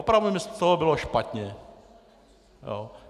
Opravdu mi z toho bylo špatně.